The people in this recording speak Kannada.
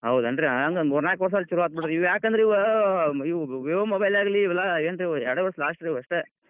ಹೌದಾನ್ರೀ ಹಂಗ್ ಮೂರ್ ನಾಲ್ಕ್ ವರ್ಷ್ ಅಂದ್ರ್ ಛಲೋ ಆತ್ ಬಿಡ್ರಿ ಯಾಕಂದ್ರ್ ಇವ್, ಇವ್ Vivo mobile ಆಗ್ಲಿ ಇವೆಲ್ಲಾ ಏನ್ರೀ ಇವ್ ಎರಡೇ ವರ್ಷ್ last ರೀ ಇವ್ ಅಷ್ಟ್.